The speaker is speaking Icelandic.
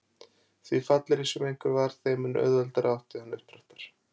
Því fallegri sem einhver var þeim mun auðveldara átti hann uppdráttar.